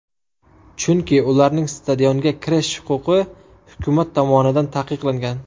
Chunki ularning stadionga kirish huquqi hukumat tomonidan taqiqlangan.